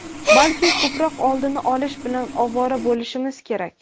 balki ko‘proq oldini olish bilan ovora bo‘lishimiz kerak.